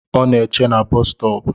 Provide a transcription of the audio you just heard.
Ọ na eche na boosu stop